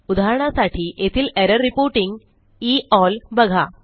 उदाहरणासाठी येथील error reporting E L बघा